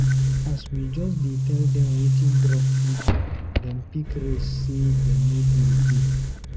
As we just tell dem wetin drug fit do dem pick race sey dey no do again.